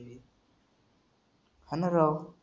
हां ना राव.